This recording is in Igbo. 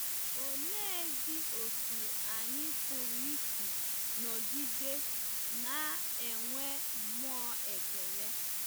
Oleezi otú anyị pụrụ isi nọgide na-enwe mmụọ ekele?